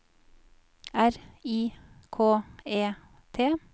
R I K E T